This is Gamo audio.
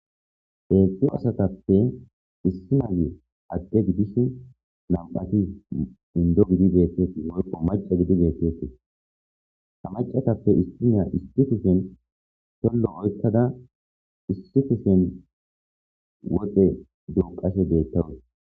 heefi asatappe issi naye adde gidishi nam7ati indo gidi deetteti woyqo maca gidi deetteti hamacatappe istoniya istifisen tollo oykkada istitisen woxe duuqashe deettawus